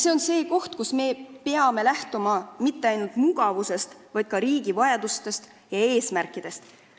See on aga koht, kus me peame lähtuma mitte ainult mugavusest, vaid ka riigi vajadustest ja eesmärkidest.